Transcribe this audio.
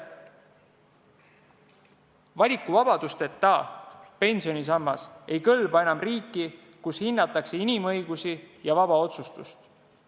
Valikuvabadusteta pensionisammas ei kõlba enam riiki, kus hinnatakse inimõigusi ja vaba otsustust.